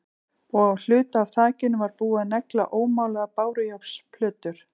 Og á hluta af þakinu var búið að negla ómálaðar bárujárnsplötur.